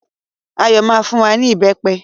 Ayọ̀ máa fún wa ní ìbẹpẹ